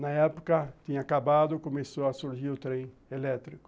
Na época tinha acabado, começou a surgir o trem elétrico.